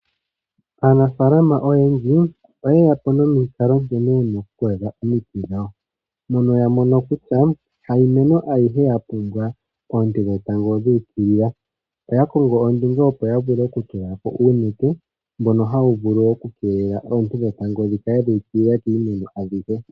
Aanafalama oyendji oyeya po nomikalo nkene yena okukwatha omiti dhawo. Mono ya mono kutya hayi meno ayihe ya pumbwa oonte dhetango dha ukilila. Oya kongo po ondunge opo ya vule okutula ko uunete, mbono hawu vulu okukeelela oonte dhetango dhi kale dha ukilila kiimeno adhihe.